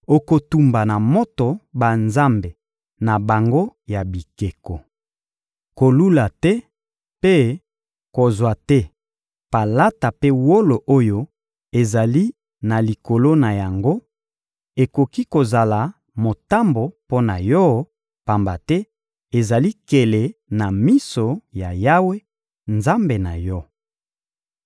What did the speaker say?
Okotumba na moto banzambe na bango ya bikeko. Kolula te mpe kozwa te palata mpe wolo oyo ezali na likolo na yango, ekoki kozala motambo mpo na yo; pamba te ezali nkele na miso ya Yawe, Nzambe na yo.